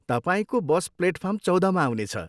तपाईँको bus platform चौधमा आउनेछ।